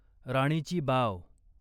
राणीची बाव